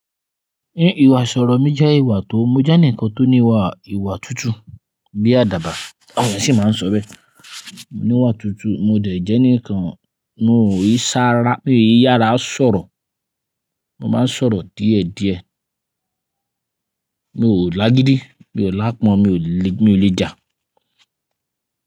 Ìwààṣọ̀rọ̀ mi jẹ́ ìwà tó, mo jẹ́ ẹnìkan tó ní ìwà ìwà tutu bíi àdàbà, àwọn ènìyàn sì máa ń sọ bẹ́ẹ̀. Mò níwà tutu, mo dẹ̀ jẹ́ ẹnìkan, mo ò yí sá ra, mo ò yí yàrá sọ̀rọ̀, mo máa ń sọ̀rọ̀ díẹ̀díẹ̀, mo ò láágídí, mi ò láàpọ́n, mi ò le, mi ò le jà.